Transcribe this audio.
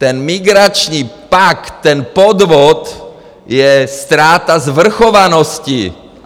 Ten migrační pakt, ten podvod, je ztráta svrchovanosti!